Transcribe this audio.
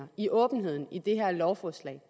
i åbenheden i det her lovforslag